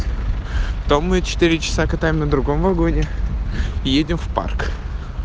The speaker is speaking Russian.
том ичаса катаем на другом вагоне едем в парк